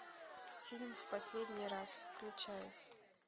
фильм в последний раз включай